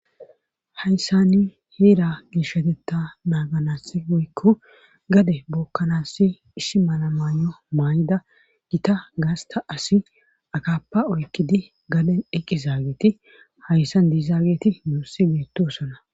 Hayssani heera gishotetta naaganasi goykko gade bookkanaassi issi malamaayo maay7ida gita gaasta asi akappa oykkidi gade eqqi zaageeti hayssan diizaageti muussi beettosona.